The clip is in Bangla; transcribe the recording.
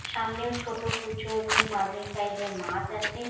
সামনেও ছোট কুচো এবং মাঝারি সাইজের মাছ আছে।